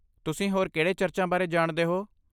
ਤੁਸੀਂ ਹੋਰ ਕਿਹੜੇ ਚਰਚਾਂ ਬਾਰੇ ਜਾਣਦੇ ਹੋ?